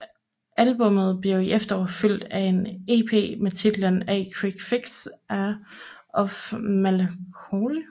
Albummet blev i efteråret fulgt af en ep med titlen A Quick Fix of Melancholy